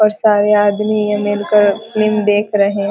और सारे आदमी है मिलकर फिल्म देख रहे --